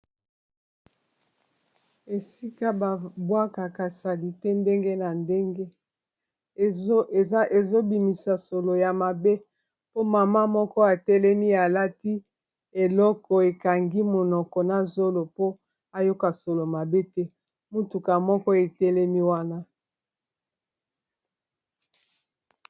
Esika babwaka salite ndenge na ndenge ezobimisa solo ya mabe po mama moko etelemi alati eloko ekangi monoko na zolo po ayoka solo mabe te mutuka moko etelemi wana